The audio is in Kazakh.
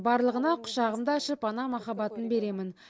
барлығына құшағымды ашып ана махаббатын беремін